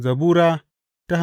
Zabura Sura